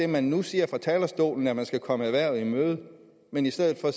man nu siger fra talerstolen nemlig at man skal komme erhvervet i møde men i stedet at